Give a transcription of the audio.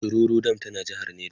shiroro dam tana jehar neja